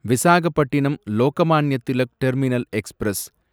Visakhapatnam Lokmanya Tilak terminus express